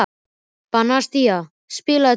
Bastían, spilaðu tónlist.